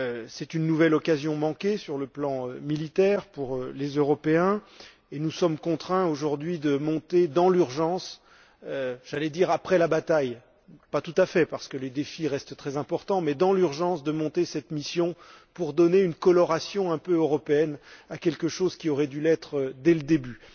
C'est une nouvelle occasion manquée sur le plan militaire pour les Européens et nous sommes contraints aujourd'hui de monter dans l'urgence j'allais dire après la bataille, mais pas tout à fait, parce que les défis restent très importants cette mission pour donner une coloration un peu européenne à quelque chose qui aurait dû l'être dès le début.